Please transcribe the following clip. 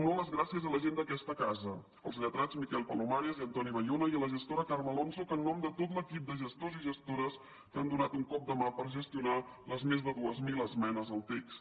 també les gràcies a la gent d’aquesta casa als lletrats miquel palomares i antoni bayona i a la gestora carme alonso en nom de tot l’equip de gestors i gestores que han donat un cop de mà per gestionar les més de dues mil esmenes al text